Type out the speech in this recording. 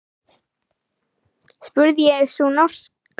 spurði sú norska.